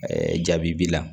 jaabi b'i la